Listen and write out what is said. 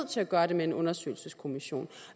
til at gøre det med en undersøgelseskommission